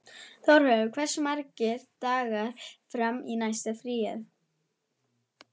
Þjóðleifur, hversu margir dagar fram að næsta fríi?